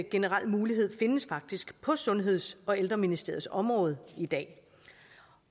generel mulighed findes faktisk på sundheds og ældreministeriets område i dag